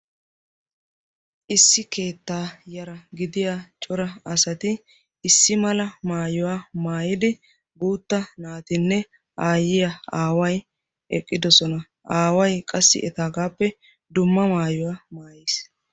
issi keettaa yara gidiya cora asati issi mala maayuwaa maayidi guutta naatinne aayyiya aaway eqqidosona aaway qassi etaagaappe dumma maayuwaa maayiis